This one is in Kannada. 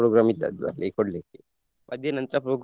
program ಇದ್ದದ್ದು ಅದೇ ಕೊಡ್ಲಿಕ್ಕೆ ಮಧ್ಯಾಹ್ನ ನಂತ್ರ program .